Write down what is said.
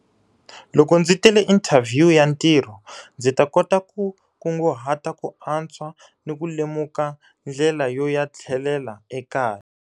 Loko ndzi tele inthavhiyu ya ntirho, ndzi ta kota ku kunguhata ku antswa ni ku lemuka ndlela yo ya tlhelela ekaya.